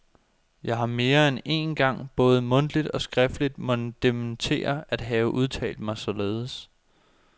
Jeg har mere end én gang både mundtligt og skriftligt måtte dementere at have udtalt mig således.